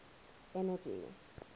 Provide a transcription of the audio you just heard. energy